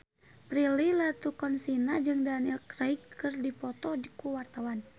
Prilly Latuconsina jeung Daniel Craig keur dipoto ku wartawan